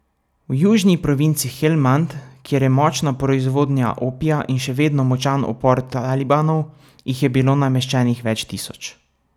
V južni provinci Helmand, kjer je močna proizvodnja opija in še vedno močan upor talibanov, jih je bilo nameščenih več tisoč.